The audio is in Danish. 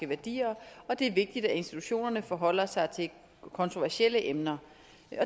værdier og det er vigtigt at institutionerne forholder sig til kontroversielle emner